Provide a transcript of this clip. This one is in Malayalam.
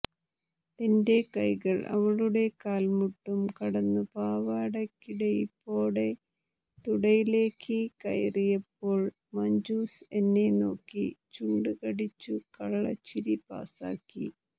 എന്റെ കൈകൾ അവളുടെ കാൽമുട്ടും കടന്നു പാവടക്കിടയിപ്പോടെ തുടയിലേക്ക് കയറിയപ്പോൾ മഞ്ജുസ് എന്നെ നോക്കി ചുണ്ടു കടിച്ചു കള്ളച്ചിരി പാസ്സാക്കി